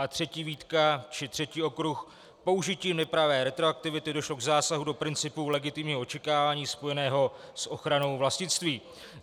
A třetí výtka či třetí okruh, použitím nepravé retroaktivity došlo k zásahu do principů legitimního očekávání spojeného s ochranou vlastnictví.